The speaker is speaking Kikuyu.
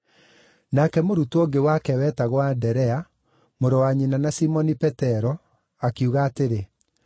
Nake mũrutwo ũngĩ wake wetagwo Anderea, mũrũ wa nyina na Simoni Petero, akiuga atĩrĩ,